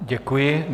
Děkuji.